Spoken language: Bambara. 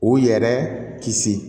U yɛrɛ kisi